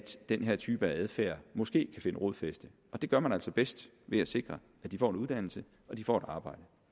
den her type adfærd måske kan finde rodfæste og det gør man altså bedst ved at sikre at de får en uddannelse og de får et arbejde